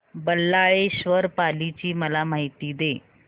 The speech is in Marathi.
बल्लाळेश्वर पाली ची मला माहिती दे